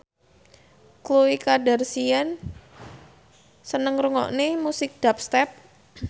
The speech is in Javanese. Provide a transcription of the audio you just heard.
Khloe Kardashian seneng ngrungokne musik dubstep